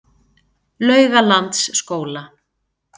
Laugalandsskóla